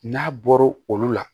N'a bɔra olu la